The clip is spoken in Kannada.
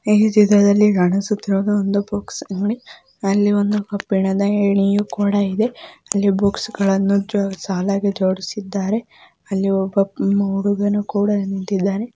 ಈ ಚಿತ್ರದಲ್ಲಿ ಕಾಣಿಸುತ್ತಿರುವುದು ಒಂದು ಬುಕ್ಸ್ ಅಂಗಡಿ. ಅಲ್ಲಿ ಒಂದು ಕಬ್ಬಿಣದ ಏಣಿಯು ಕೂಡ ಇದೆ. ಅಲ್ಲಿ ಬುಕ್ಸ್ {books ಗಳನ್ನು ಸಾಲಾಗಿ ಜೋಡಿಸಿದ್ದಾರೆ. ಅಲ್ಲಿ ಒಬ್ಬ ಹುಡುಗನು ಕೂಡ ನಿಂತಿದ್ದಾನೆ.}